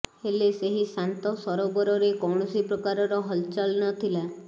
ହେଲେ ସେହି ଶାନ୍ତ ସରୋବରରେ କୌଣସି ପ୍ରକାରର ହଲଚଲ୍ ନଥିଲା